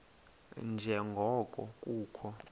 nje ngoko kukho